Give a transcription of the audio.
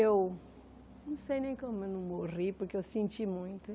Eu não sei nem como eu não morri, porque eu senti muito.